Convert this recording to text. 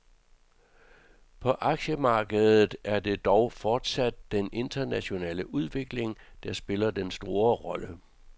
På aktiemarkedet er det dog fortsat den internationale udvikling, der spiller den store rolle.